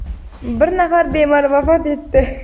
bir nafar bemor vafot etdi.